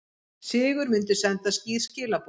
Sigur myndi senda skýr skilaboð